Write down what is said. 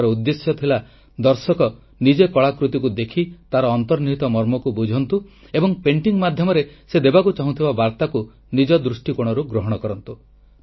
ତାଙ୍କର ଉଦ୍ଦେଶ୍ୟ ଥିଲା ଦର୍ଶକ ନିଜେ କଳାକୃତିକୁ ଦେଖି ତାର ଅନ୍ତର୍ନିହିତ ମର୍ମକୁ ବୁଝନ୍ତୁ ଏବଂ ଚିତ୍ରକଳା ମାଧ୍ୟମରେ ସେ ଦେବାକୁ ଚାହୁଁଥିବା ବାର୍ତ୍ତାକୁ ନିଜ ଦୃଷ୍ଟିକୋଣରୁ ଗ୍ରହଣ କରନ୍ତୁ